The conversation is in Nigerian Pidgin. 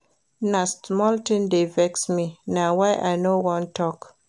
Na small tin dey vex me, na why I no wan tok.